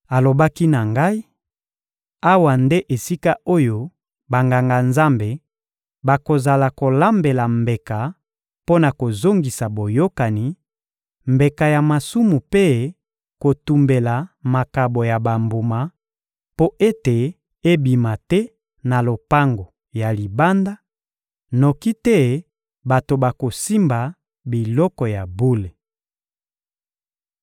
Alobaki na ngai: «Awa nde esika oyo Banganga-Nzambe bakozala kolambela mbeka mpo na kozongisa boyokani, mbeka ya masumu mpe kotumbela makabo ya bambuma mpo ete ebima te na lopango ya libanda, noki te bato bakosimba biloko ya bule.»